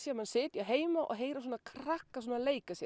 maður sitji heima og heyrir í krökkum leika sér